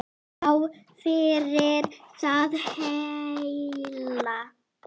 Já, yfir það heila.